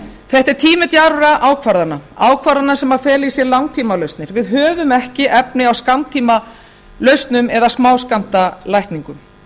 þetta er tími djarfra ákvarðana ákvarðana sem fela í sér langtímalausnir við höfum ekki efni á skammtímalausnum eða smáskammtalækningum